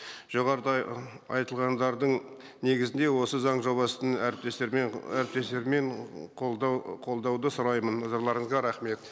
жоғарыда айтылғандардың негізінде осы заң жобасын әріптестерімнен қолдауды сұраймын назарларыңызға рахмет